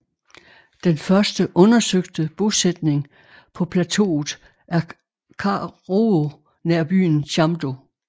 Den første undersøgte bosætning på plateauet er Karuo nær byen Chamdo